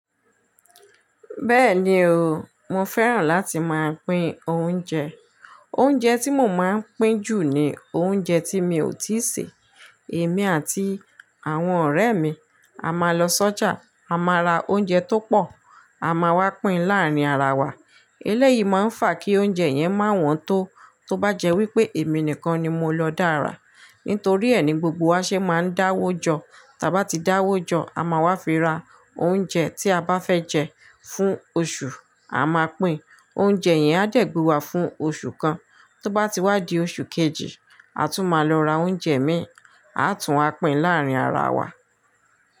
Bẹ́ẹ̀ni o, mo fẹ́ràn láti máa pín oúnjẹ. Oúnjẹ tí mo máa ń pín jù ni oúnjẹ tí mi ò tíì sè. Èmi àti àwọn ọ̀rẹ́ mi a máa lọ sọ́jà, a máa ra oúnjẹ tó pọ̀, a máa wá pín láàárín ara wa. Elẹ́yìí máa ń fà kí oúnjẹ yẹn má wọn tó. Tóbájẹ́ wípé èmi nìkan ni mo lọ dára, nítorí ẹ̀ ni gbogbo wa ṣe máa ń dáwójọ. Taba ti dáwójọ́, a máa wá fi ra oúnjẹ tí a bá fẹ́ jẹ fún oṣù, a máa pín. Oúnjẹ yẹn á dẹ̀gbà wa fún oṣù kan. Tóbá ti wá di oṣù kejì, a tún máa lọ ra oúnjẹ mìír, a tún wá pín láàárín ara wa.